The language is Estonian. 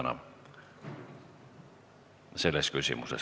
Palun, härra minister!